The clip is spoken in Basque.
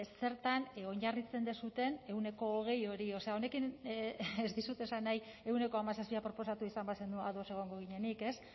zertan oinarritzen duzuen ehuneko hogei hori o sea honekin ez dizut esan nahi ehuneko hamazazpia proposatu izan bazenu ados egongo ginenik ez